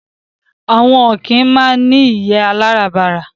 Àwọn ọ̀kín máa ń ní ìyé aláràbarà